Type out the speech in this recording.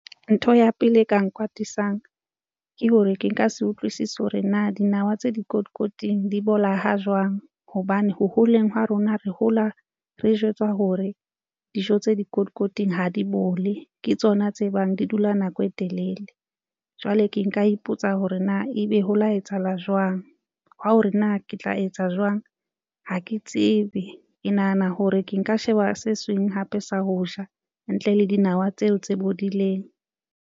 Ntho ya pele e ka nkwatisang ke hore ke nka se utlwisise hore na dinawa tse dikotikoting di bola ha jwang hobane ho holeng ha rona re hola re jwetswa hore dijo tse dikotikoting ha di bole ke tsona tse bang di dula nako e telele. Jwale ke nka ipotsa hore na ebe ho la etsahala jwang hwa hore na ke tla etsa jwang ha ke tsebe ke nahana hore ke nka sheba se seng hape sa ho ja ntle le dinawa tseo tse bodileng.